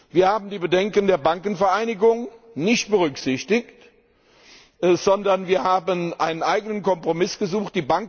Wir haben die Bedenken der Bankenvereinigung nicht berücksichtigt, sondern wir haben einen eigenen Kompromiss gesucht.